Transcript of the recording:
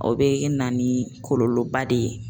O bɛ na ni kɔlɔlɔba de ye.